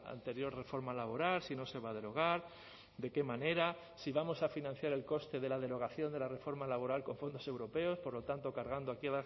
anterior reforma laboral si no se va a derogar de qué manera si vamos a financiar el coste de la derogación de la reforma laboral con fondos europeos por lo tanto cargando aquí